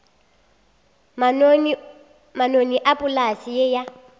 manoni a polase ye ya